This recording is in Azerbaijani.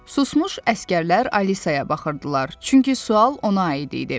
Susmuş əsgərlər Alisaya baxırdılar, çünki sual ona aid idi.